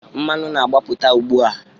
Mmanụ na-agbapụta ugbu a.